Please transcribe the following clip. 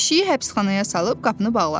Pişiyi həbsxanaya salıb qapını bağladılar.